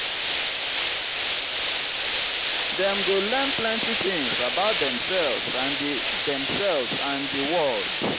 dem go learn plenty tins about demselves and di demselves and di world.